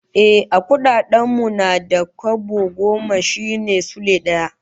Ehh, a kudaden mu na da, kwabo goma shine Sule daya